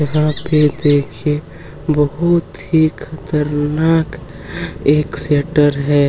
यहाँ पे देखिये बहुत ही खतरनाक एक शटर है।